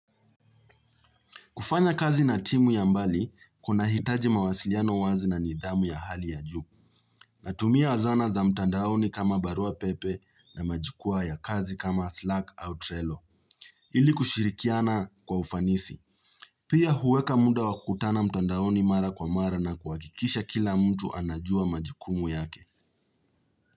Kufanya kazi na timu ya mbali, kuna hitaji mawasiliano wazi na nidhamu ya hali ya juu. Natumia zana za mtandaoni kama barua pepe na majikwa ya kazi kama slack au trelo. Ili kushirikiana kwa ufanisi. Pia huweka muda wakukutana mtandaoni mara kwa mara na kuhakikisha kila mtu anajua majukumu yake.